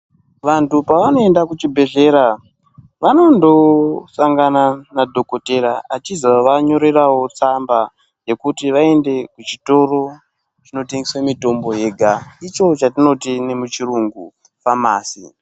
Vantu pavanoenda kuchibhedhlera vanondosangana nadhokodhera achizovanyorerawo tsamba yekuti vaende kuchitoro chinotengeswa mutombo yega icho chatinoti nemuchirungu famasi..